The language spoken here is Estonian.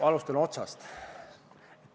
Alustan otsast.